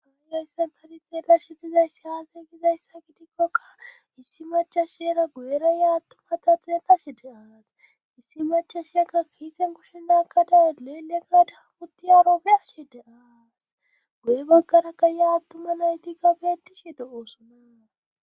Hayssan tani xeela shi dizayssi haagegizayssa gitikkokka issi machasheera guyera ya attuma ta xieetashe de aas issi machashieka kiisen kushshenaka dawe leele kadabutti aarobeashe de aas guye baggara ka ya attuma nayti ga beettishe de oosonaa